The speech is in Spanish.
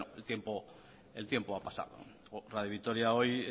bueno el tiempo ha pasado radio vitoria hoy